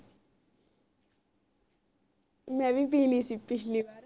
ਮੈਂ ਵੀ ਪੀ ਲਾਇ ਸੀ ਪਿਛਲੀ ਵਾਰ